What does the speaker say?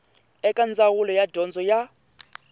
eka ndzawulo ya dyondzo ya